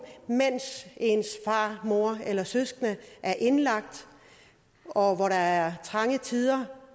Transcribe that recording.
mens ens far mor eller søskende er indlagt og hvor der er trange tider